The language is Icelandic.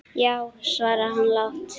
Já, svaraði hann lágt.